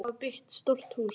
Þau hafa byggt stórt hús.